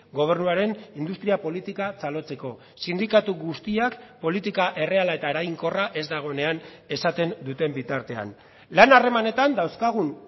gobernuaren industria politika txalotzeko sindikatu guztiak politika erreala eta eraginkorra ez dagoenean esaten duten bitartean lan harremanetan dauzkagun